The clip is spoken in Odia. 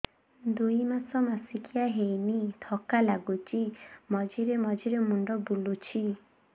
ଦୁଇ ମାସ ମାସିକିଆ ହେଇନି ଥକା ଲାଗୁଚି ମଝିରେ ମଝିରେ ମୁଣ୍ଡ ବୁଲୁଛି